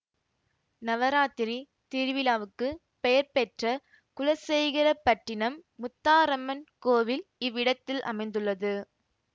நவராத்திரி திருவிழாவுக்குப் பெயர் பெற்ற குலசேகரபட்டினம் முத்தாரம்மன் கோவில் இவ்விடத்தில் அமைந்துள்ளது